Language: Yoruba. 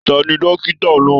Tani dókítà náà?